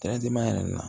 yɛrɛ nin na